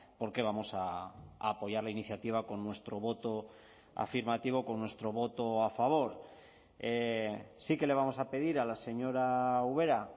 porque vamos a apoyar la iniciativa con nuestro voto afirmativo con nuestro voto a favor sí que le vamos a pedir a la señora ubera